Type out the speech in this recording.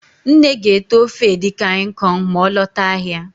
Nne ga-ete ofe edikang ikong ma ọ lọta ahịa